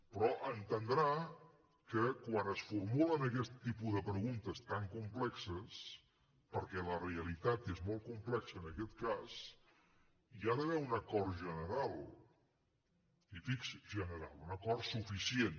però deu entendre que quan es formulen aquest tipus de preguntes tan complexes perquè la realitat és molt complexa en aquest cas hi ha d’haver un acord general general un acord suficient